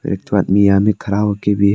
एक तो आदमी यहां भी खड़ा होकर भी--